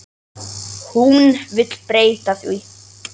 Hún vill breyta því.